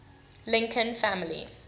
lincoln family